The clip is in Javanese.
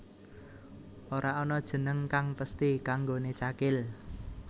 Ora ana jeneng kang pesthi kanggoné Cakil